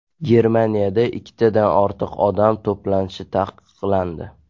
Germaniyada ikkitadan ortiq odam to‘planishi taqiqlandi.